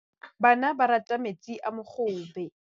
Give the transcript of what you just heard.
Bana ba rata metsi a mogobe.